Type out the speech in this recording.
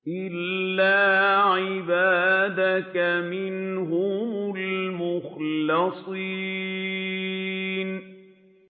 إِلَّا عِبَادَكَ مِنْهُمُ الْمُخْلَصِينَ